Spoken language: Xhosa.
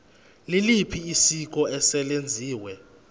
liliphi isiko eselenziwe